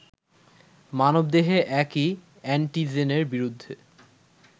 মানবদেহে একই অ্যান্টিজেনের বিরুদ্ধে